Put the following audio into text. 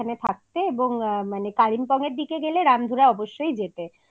থাকতে এবং কালিম্পং এর দিকে গেলে রামধুরা অবশ্যই যেতে